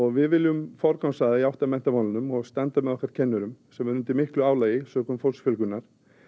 við viljum forgangsraða í átt að menntamálum og standa með okkar kennurum sem eru undir miklu álagi sökum fólksfjölgunar